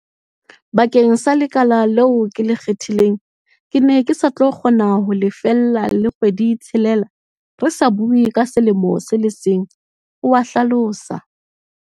Bakeng sa le kala leo ke le kgethileng, ke ne ke sa tlo kgona ho lefella le kgwedi-tshelela, re sa bue ka selemo se le seng, o a hlalosa.